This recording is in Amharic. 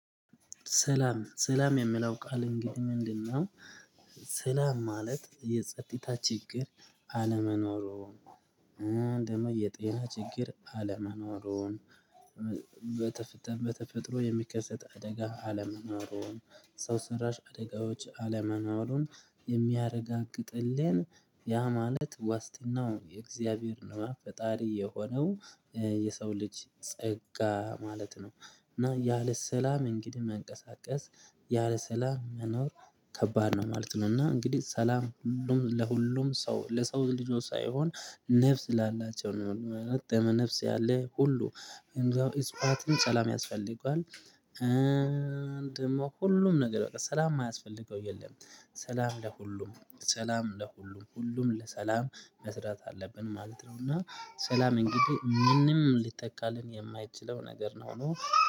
ሰላም ሰላም የሚለውን ቃል እንግዲህ ምንድነው? ሰላም ማለት የጸጥታ ችግር አለመኖሩን ደግሞ የጤና ችግር አለመኖሩን በተፈጥሮ የሚከሰት አደጋ አለመኖሩን ሰው ሰራሽ አደጋዎች አለመኖሩን የሚያረጋግጥልን ሰላም ማለት የጸጥታ ችግር አለመኖሩን ደግሞ የጤና ችግር አለመኖሩን የሰው ልጅ ጸጋ ማለት ነው። እና ያለ ሰላም እንግዲህ መንቀሳቀስ ያለ ሰላም መኖር ከባድ ነው ማለት ነው። እና እንግዲህ ሰላም ሁሉም ለሁሉም ሰው ለሰው ልጆች ሳይሆን ነፍስ ላላቸው ነው ደመ ነፍስ ያለ ሁሉ ወይም እንስሳትም እፅዋትም እጽዋትን ሰላም ያስፈልገዋል። ደግሞ ሁሉም ነገር በቃ ሰላም የማያስፈልገው የለም። ሰላም ለሁሉም ሰላም ለሁሉም ሁሉም ለሰላም መስራት አለብን ማለት ነው። እና ሰላም እንግዲህ ምንም ሊተካልን የማይችለው ነገር መሆን